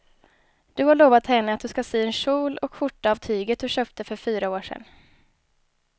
Du har lovat henne att du ska sy en kjol och skjorta av tyget du köpte för fyra år sedan.